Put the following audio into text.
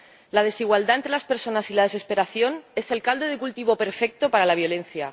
La desigualdad entre las personas y la desesperación son el caldo de cultivo perfecto para la violencia.